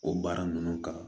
O baara ninnu kan